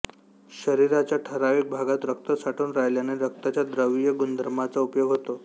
शरीराच्या ठरावीक भागात रक्त साठून राहिल्याने रक्ताच्या द्रवीय गुणधर्माचा उपयोग होतो